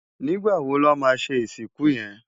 Nigbá wó lò má ṣé isikún yén?